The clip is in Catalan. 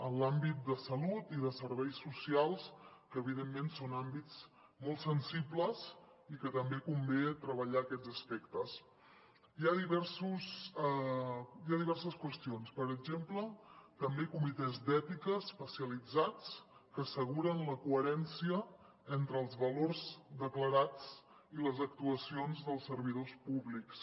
en l’àmbit de salut i de serveis socials que evidentment són àmbits molt sensibles i que també convé treballar aquests aspectes hi ha diverses qüestions per exemple també comitès d’ètica especialitzats que asseguren la coherència entre els valors declarats i les actuacions dels servidors públics